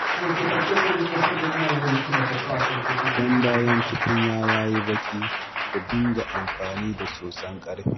Idan bayan tukunya ya yi baƙi, ku dinga amfani da soson ƙarfe